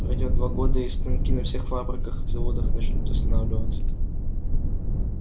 пройдёт два года и станки на всех фабриках и заводах начнут останавливаться